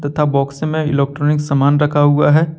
तथा बॉक्स में इलेक्ट्रॉनिक सामान रखा हुआ है।